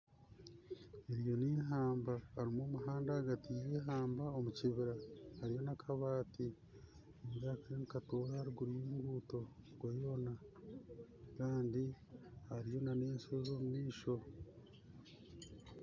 Eryo nihamba harimu n'omuhanda ahagati y'ihamba omu kibiira harimu n'akabaati nindeeba kariyo nikatoora aharuguru y'enguto okweyoona kandi hariyo n'eshoozi omumaisho